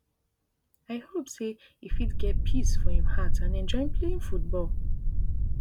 i hope say e fit get peace for im heart and enjoy playing football